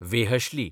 वेहश्ली